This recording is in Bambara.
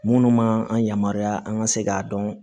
Minnu man an yamaruya an ka se k'a dɔn